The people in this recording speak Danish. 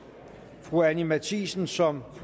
fru anni matthiesen som